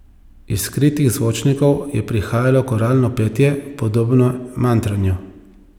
Iz skritih zvočnikov je prihajalo koralno petje, podobno mantranju.